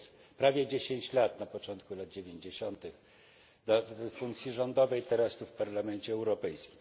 Przez prawie dziesięć lat, na początku lat dziewięćdziesiątych w funkcji rządowej, teraz tu w Parlamencie Europejskim.